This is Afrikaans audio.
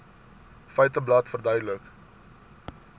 feiteblad verduidelik